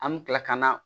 An bɛ kila ka na